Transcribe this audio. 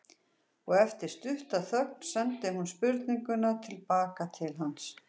Og eftir stutta þögn sendi hún spurninguna til baka til hans.